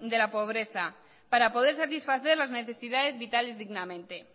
de la pobreza para poder satisfacer las necesidades vitales dignamente